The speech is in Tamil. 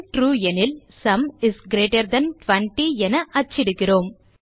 ட்ரூ எனில் சும் இஸ் கிரீட்டர் தன் 20 என அச்சிடுகிறோம்